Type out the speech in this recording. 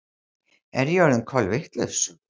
Er ég orðin kolvitlaus?